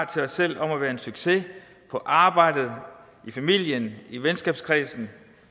til os selv om at være en succes på arbejdet i familien i venskabskredsen